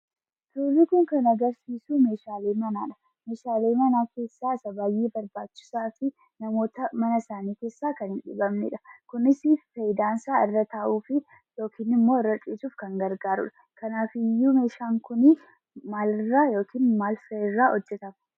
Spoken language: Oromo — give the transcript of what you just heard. Suurri kun kan agarsiisuu meeshaalee manaati. Meeshaalee manaa keessaa isa baay'ee barbaachisaafii namoota mana isaanii keessaa kan hin dhibamnedha. kunis faayidaansaa irra taa'uufii yookiin immoo irra ciisuuf kan gargaarudha. kanaafiyyuu meeshaan kuni maalirraa yookiin maal fa'irraa hojjetama?